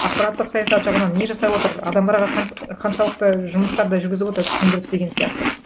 ақпараттық саясат жағынан не жасап отыр адамдарға қаншалықты жұмыстарды жүргізіп отыр түсіндіріп деген сияқты